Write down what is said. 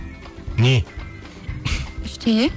не ештеңе